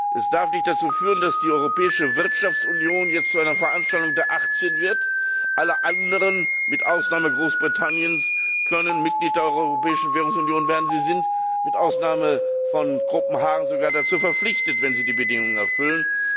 Es darf nicht dazu führen, dass die europäische Wirtschaftsunion jetzt zu einer Veranstaltung der 18 wird, alle anderen mit Ausnahme Großbritanniens können Mitglied der Europäischen Währungsunion werden, sie sind mit Ausnahme von Kopenhagen sogar dazu verpflichtet, wenn sie die Bedingungen erfüllen.